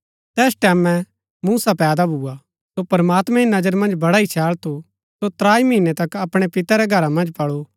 तैस टैमैं मूसा पैदा भूआ सो प्रमात्मैं री नजरा मन्ज बड़ा ही छैळ थू सो त्राई महीनै तक अपणै पिते रै घरा मन्ज पळू